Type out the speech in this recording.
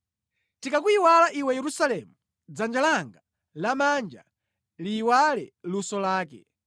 Ndikakuyiwala iwe Yerusalemu, dzanja langa lamanja liyiwale luso lake.